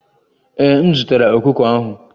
Ee, m zụtara ọkụkọ ahụ